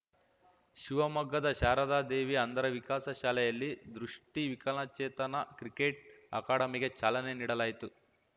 ಶಿವಮೊಗ್ಗದ ಶಾರದಾದೇವಿ ಅಂಧರ ವಿಕಾಸ ಶಾಲೆಯಲ್ಲಿ ದೃಷ್ಟಿವಿಕಲಚೇತನ ಕ್ರಿಕೆಟ್‌ ಅಕಾಡೆಮಿಗೆ ಚಾಲನೆ ನೀಡಲಾಯಿತು